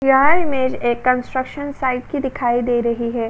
यह इमेज के एक कंस्ट्रक्शन साइट की दिखाई दे रही है।